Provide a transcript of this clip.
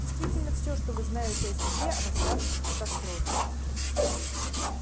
действительно все что вы знаете о себе о восставших о катастрофе